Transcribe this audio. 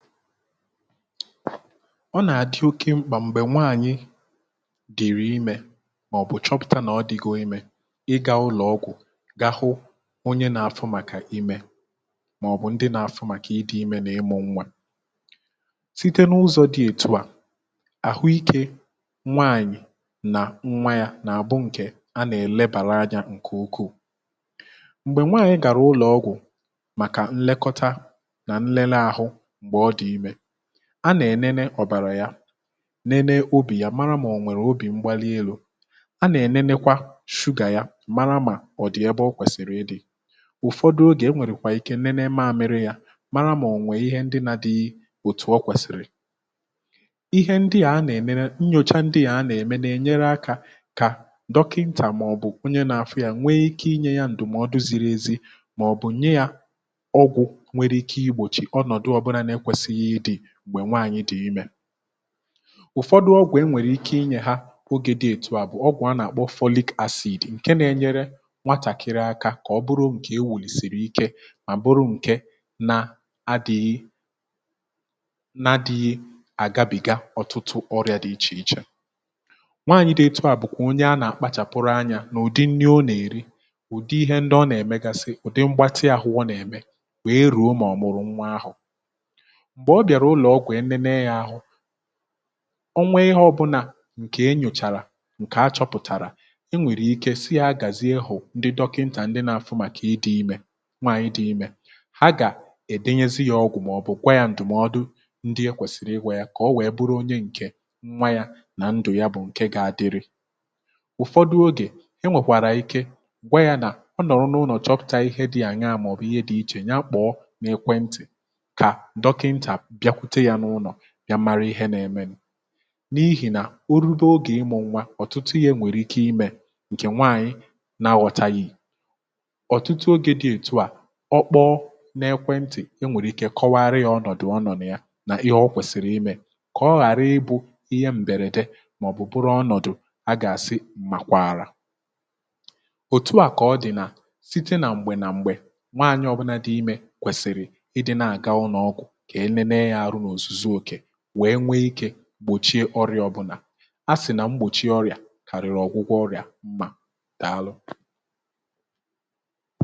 ọ nà-àdị oke mkpà m̀gbè nwaànyị dị̀rị imė màọ̀bụ̀ chọpụ̀ta nà ọ dị̀gȯ imė ịgȧ ụlọ̀ ọgwụ̀ gaa hụ onye nȧ-afu màkà imė màọ̀bụ̀ ndị nȧ-afụ màkà ịdị̇ imė n’ịmụ̇ nwa site n’ụzọ̇ dị̀ ètù à àhụ ikė nwaànyị nà nwa yȧ nà àbụ ṅkè a nà-èlebàra anyȧ ǹkè ukwuu, m̀gbè nwaànyị gàrà ụlọ̀ ọgwụ̀ màkà nlekọta nà nlele àhụ mgbe ọ di ime ,a nà-ènene ọ̀bàrà ya nène obì ya mara mà ọ̀ nwèrè obì mgbali elu̇ a nà-ènenekwa shugà ya mara mà ọ̀ dị ebe ọ kwèsìrì ịdị̇ ụ̀fọdụ ogè e nwèrèkwà ike nène maȧmịrị ya mara mà ọ̀nwère ihe ndị na adịghị òtù ọ kwèsìrì, ihe ndị à a nà-ènere nnyocha ndị à a nà-ème na-enyere akȧ kà dọkịntà màọ̀bụ̀ onye nȧ-àfụ ya nwee ike inye ya ǹdụ̀mọdụ ziri ezi màọ̀bụ̀ nye ya ọgwụ̇ nwere ike igbòchi ọnọdụ obula na ekwesighi ịdị mgbe nwaanyị di ime, ùfọdụ ọgwụ̀ e nwèrè ike inyè ha ogè dị̇ ètù à bụ̀ ọgwụ̀ a nà-àkpọ folic acid ǹke na-enyere nwatàkịrị akȧ kà ọ bụrụ ǹkè ewùlisìrìke mà bụrụ ǹkè na-adị̇ghị na-adị̇ghị àgabìga ọtụtụ ọrịȧ dị ichè ichè, nwaànyị̇ dị ètù à bụ̀kwà onye a nà-akpàchàpụrụ anyȧ n’ụ̀dị nri ọnà-èri, ụ̀dị ihe ndị ọ nà-èmegasị, ụ̀dị mgbatị àhụ ọ nà-ème wee ruo ma ọ mụrụ nwa ahụ, mgbe ọ bìàrà ụlọ̀ ọgwụ̀ enene ya ahụ̇, onwee ihe ọbụ̇nà ǹkè enyùchàrà ǹkè achọpụ̀tàrà e nwèrè ike si yȧ gàzie hù ndị dọkịntà ndị nȧ-afụ màkà ịdị̇ imė nwaànyị dị̇ imė ha gà-èdenyezi yȧ ọgwụ̀ màọ̀bụ̀ gwa yȧ ǹdụ̀mọdụ ndị ekwèsìrì iwė yȧ kà o wèe bụrụ onye ǹkè nwa yȧ nà ndụ̀ ya bụ̀ ǹke ga-adịrị, ụ̀fọdụ ogè enwèkwàrà ike gwa yȧ nà ọ nọ̀rọ̀ n’ụnọ̀ chọpụ̀ta ihe dị̇ àña màọ̀bụ̀ ihe dị̇ ichè ya kpọ̀ọ n’ekwentị̀ kà dokinta biakwute ya n'ụlọ bia mara ihe na eme nu n’ihì nà orube ogè ịmụ̇ nwa ọ̀tụtụ ihe enwèrè ike imė ǹkè nwàànyị na-aghọ̀tȧghi, ọ̀tụtụ ogė dị̇ ètù à ọ kpọọ n’ekwe ntị̀ e nwèrè ike kọwara yȧ ọnọ̀dụ̀ ọnọ̀dụ̀ ya nà ihe ọ kwèsìrì imė kà ọ ghàra ịbụ̇ ihe m̀bèrède màọ̀bụ̀ bụrụ ọnọ̀dụ̀ a gà-àsị mmàkwàrà, òtù à kà ọ dị̀ nà site nà m̀gbè nà m̀gbè nwaànyị ọ̀bụnà dị imė kwèsìrì ịdị nà-àga ụnọ̀ ọgwụ̀ ka enene ya ahụ na ọzụzụ oke wee gbòchie ọrịà ọbụ̀là a sì nà mgbòchie ọrịà kàrịrị ọgwụgwọ ọrịà mma dàalụ